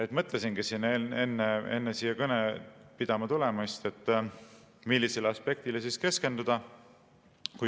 Ma mõtlesingi enne seda kõnet pidama tulemist, millisele aspektile keskenduda.